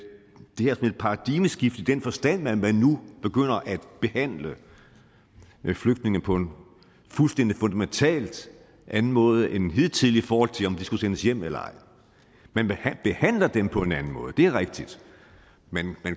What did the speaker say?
paradigmeskifte i den forstand at man nu begynder at behandle flygtninge på en fuldstændig fundamentalt anden måde end hidtil i forhold til om de skal sendes hjem eller ej man behandler dem på en anden måde det er rigtigt man